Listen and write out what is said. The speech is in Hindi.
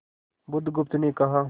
बुधगुप्त ने कहा